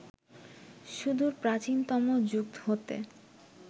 সুদূর প্রাচীনতম যুগ হতে